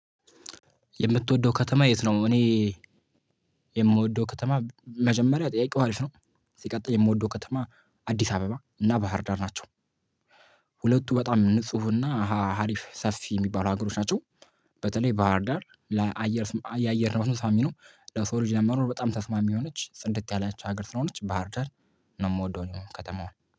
የምትወደው ከተማ የት ነው? እኔ የምወደው ከተማ መጀመሪያ ጠይቀው አሪፍ ነው። ሲቀጥል የምወደው ከተማ አዲስ አበባ እና ባህርዳር ናቸው። ሁለቱ በጣም ንጹህ እና አሃ ሀሪፍ ሰፊ የሚባሉ ሀገሮች ናቸው። በተለይ ባህርዳር ለአየር የአየር ንብረቱም ሳቢ ነው። ለሰው ልጅ ለመኖር በጣም ተስማሚ የሆነች ጽድት ያለች ሀገር ስለሆነች ባህርዳር ነው የምወደው እኔም ከተማው